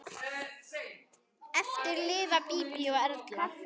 Eftir lifa Bíbí og Erla.